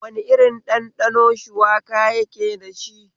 Wane irin ɗanɗano shuwaka yake dashi?